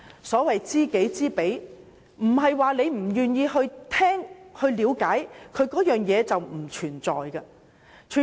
所謂"知己知彼"，即使不願意聆聽和了解，也不代表這些事情不存在。